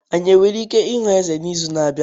Anyị nwere ike ịhụ Eze n'izu na-abịa?